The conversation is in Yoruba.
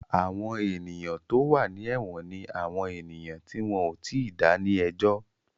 Àwọn ènìyàn tó wà ní èwọ̀n ni àwọn ènìyàn tí wọ́n ò tíì dá ní ẹjọ́